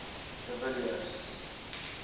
de villiers